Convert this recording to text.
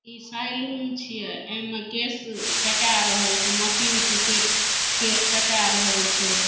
इ सैलून छिए एमे केस कटा रहल छिए मशीन से केट केस कटा रहल छै।